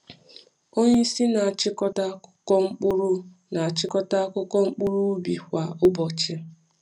Onye isi na-achịkọta akụkọ mkpụrụ na-achịkọta akụkọ mkpụrụ ubi kwa ụbọchị.